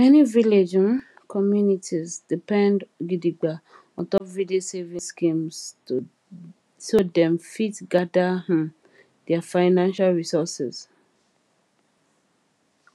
many village um communities depend gidigba ontop village savings schemes so dem fit gather um their financial resources